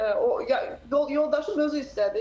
Şükür ki, o yoldaşım özü istədi.